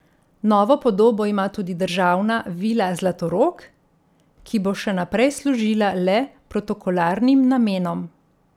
Novo podobo ima tudi državna vila Zlatorog, ki bo še naprej služila le protokolarnim namenom.